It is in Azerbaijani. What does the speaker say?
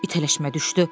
İtələşmə düşdü.